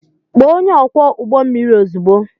Kpọọ onye ọkwọ ụgbọ mmiri ozugbo!